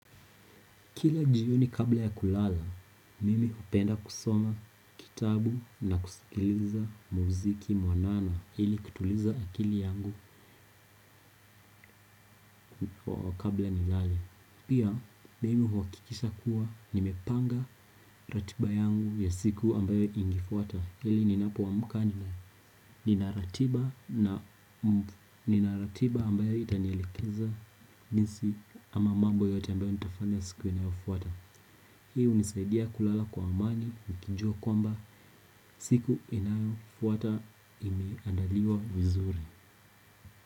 Kila jioni kabla ya kulala, mimi hupenda kusoma kitabu na kusikiliza muziki mwanana ili kutuliza akili yangu kwa wa kabla nilale. Pia, mimi huhakikisha kuwa nimepanga ratiba yangu ya siku ambayo ingefuata ili ninapoamka ninaratiba ambayo itanielikeza jinsi ama mambo yote ambayo nitafanya siku inayofuata. Hii hunisaidia kulala kwa amani, nikijua kwamba siku inayo fuata imeandaliwa vizuri.